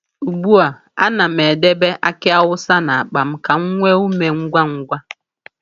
Ugbu a, a na'm edebe aki awusa n’akpa m ka m nwee ume ngwa ngwa.